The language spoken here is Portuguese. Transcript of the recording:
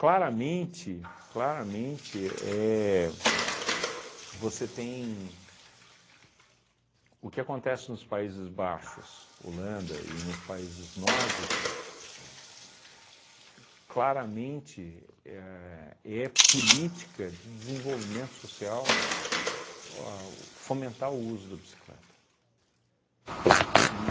Claramente claramente éh, você tem, o que acontece nos Países Baixos, Holanda, e nos países nórdicos, claramente éh é política de desenvolvimento social o a o fomentar o uso da bicicleta. E